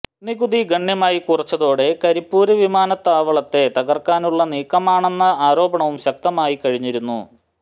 നികുതി ഗണ്യമായി കുറച്ചതോടെ കരിപ്പൂര് വീമാനത്താവളത്തെ തകര്ക്കാനുള്ള നീക്കമാണെന്ന ആരോപണവും ശക്തമായി കഴിഞ്ഞിരുന്നു